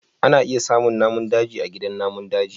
ana iya samun namun daji a gidan namun daji